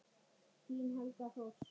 Þín Helga Thors.